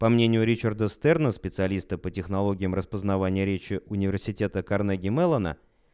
по мнению ричарда стерна специалиста по технологиям распознавание речи университета карнеги-меллона